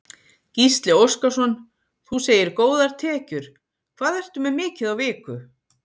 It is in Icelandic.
Gísli Óskarsson: Þú segir góðar tekjur, hvað ertu með mikið á viku?